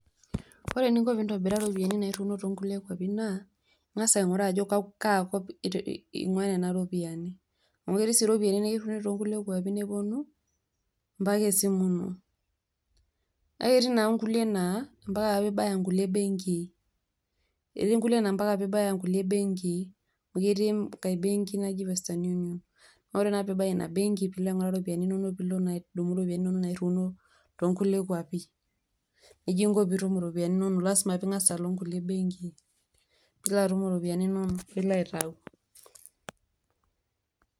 Ore eninko pee intabiraa iropiyiani nairiuono toonkulie kwapi naa ing'as aing'uraa ajo kaakop eing'uaaa nena ropiyiani amu ketii sii nkulie ropiyiani nikiriuni toonkulie kwapi neponu mpaka esimu ino kake etii naa nkulie naa mbaka nibaya nkulie benkii amu ketii enkae benki naji western unions naa ore naa peeibaya ina benki peeilo aing'ura ropiyiani inonok peeilo naa adumu iropiyiani inonok rairiuno toonkulie kwapi nejia inko peeitum iropiyiani inonok lazima pee ing'as alo inkulie benkii peeilo atum iropiyiani inonok peilo aitayu.